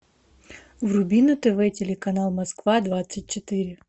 вруби на тв телеканал москва двадцать четыре